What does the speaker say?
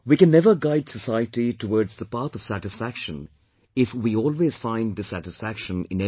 We can never guide society towards the path of satisfaction if we always find dissatisfaction in everything